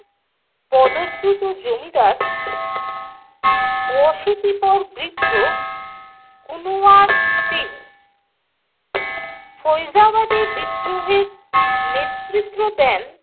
পদচ্যুত জমিদার অশীতিপর বৃদ্ধ কুনওয়ার সিং। ফৈজাবাদে বিদ্রোহের নেতৃত্ব দেন